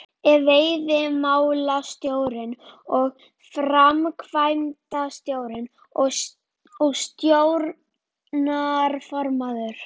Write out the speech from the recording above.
Ef veiðimálastjóri sem framkvæmdastjóri og stjórnarformaður